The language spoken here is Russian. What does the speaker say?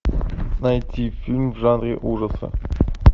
найти фильм в жанре ужаса